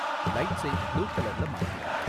லைட்ஸை blue கலர்ல மாத்து